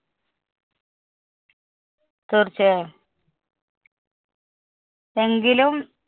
തീര്‍ച്ചയായും. എങ്കിലും